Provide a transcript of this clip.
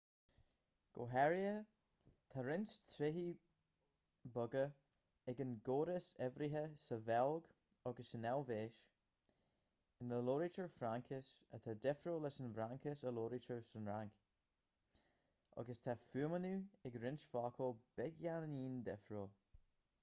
go háirithe tá roinnt tréithe beaga ag an gcóras uimhrithe sa bheilg agus san eilvéis ina labhraítear fraincis atá difriúil leis an bhfraincis a labhraítear sa fhrainc agus tá fuaimniú ag roinnt focal beagáinín difriúil